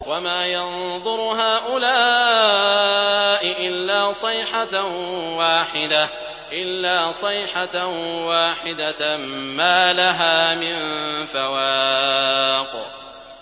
وَمَا يَنظُرُ هَٰؤُلَاءِ إِلَّا صَيْحَةً وَاحِدَةً مَّا لَهَا مِن فَوَاقٍ